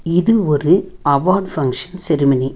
இது ஒரு award function ceremony .